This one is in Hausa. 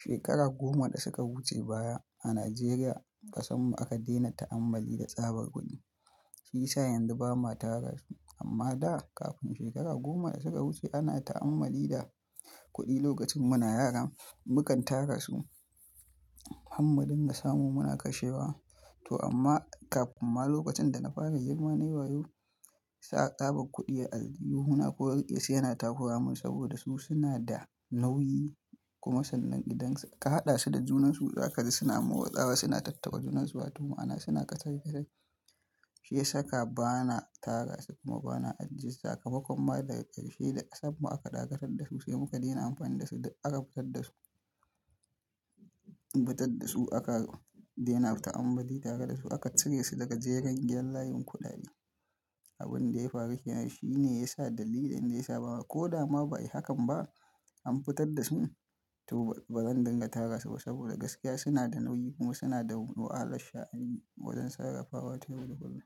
Shekaru goma da suka wuce baya a Najeriya, ƙasan mu aka dena ta'ammali da tsabar kuɗi, shi yasa yanzu ba ma tara su. Amma daa kafin shekaru goma da suka wuce ana ta'ammali da kuɗi lokacin muna yara, mukan tara su. Hammadin da samu muna kashewa to amma kafin ma lokacin da na fara girma nayi wayo sa tsabar kuɗi a al'adun mu ana koyarwa yana tafaramun saboda su suna da nauyi, kuma sannan idan ka haɗa su da junansu za ka ji suna mawo tsawa suna tattaka junansu, wato ma'ana suna ƙasa gira. Shi ya saka bana tara su kuma bana ajjiye su a kafa. Kuma daga karshe da sabon mu aka dakatar da su sai muka dena amfani da su. Da aka fitar da su, fitar da su aka dena ta'ammali tare da su aka cire su daga jerin yanayin kuɗaɗe. Abin da ya faru keana shi ne ya sa dalili da ya sa ba ma ko da ma ba yi hakan ba an fitar da su to bazan dinga tara su ba saboda gaskiya suna da nauyi kuma suna da wa halan sha'ani wajen sarrafawa wato ma'ana kullum.